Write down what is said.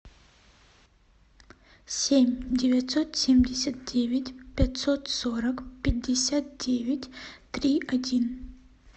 семь девятьсот семьдесят девять пятьсот сорок пятьдесят девять три один